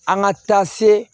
An ka taa se